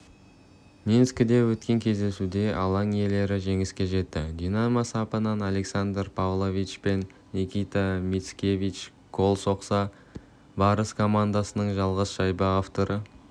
минскіде өткен кездесуде алаң иелері жеңіске жетті динамо сапынан александр павлович пен никита мицкевич гол соқса барыс командасының жалғыз шайба авторы